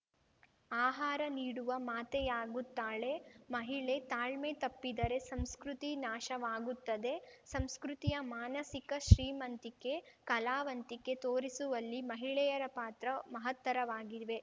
ಆಹಾರ ನೀಡುವ ಮಾತೆಯಾಗುತ್ತಾಳೆ ಮಹಿಳೆ ತಾಳ್ಮೆ ತಪ್ಪಿದರೆ ಸಂಸ್ಕೃತಿ ನಾಶವಾಗುತ್ತದೆ ಸಂಸ್ಕೃತಿಯ ಮಾನಸಿಕ ಶ್ರೀಮಂತಿಕೆ ಕಲಾವಂತಿಕೆ ತೋರಿಸುವಲ್ಲಿ ಮಹಿಳೆಯರ ಪಾತ್ರ ಮಹತ್ತರವಾಗಿವೆ